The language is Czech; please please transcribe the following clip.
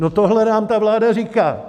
No, tohle nám ta vláda říká!